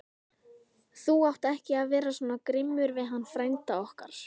Þú átt ekki vera svona grimmur við hann frænda okkar!